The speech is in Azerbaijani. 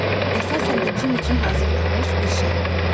Əsasən də Cim üçün hazırlanmış bir şey idi.